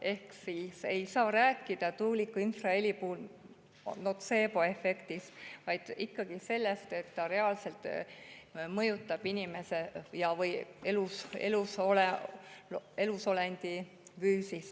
Ehk ei saa tuuliku infraheli puhul rääkida notseeboefektist, vaid tuleb rääkida ikkagi sellest, et see reaalselt mõjutab inimese, üldse elusolendi füüsist.